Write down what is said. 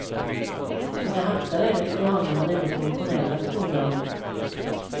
Mina hattar är lite galna men ändå funktionella, betonar hon.